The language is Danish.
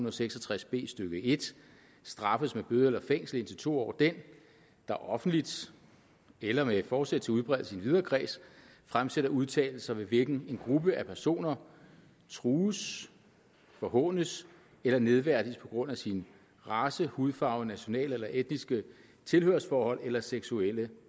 og seks og tres b stykke en straffes med bøde eller fængsel indtil to år den der offentligt eller med forsæt til udbredelse i en videre kreds fremsætter udtalelser ved hvilken en gruppe af personer trues forhånes eller nedværdiges på grund af sin race hudfarve nationale eller etniske tilhørsforhold eller seksuelle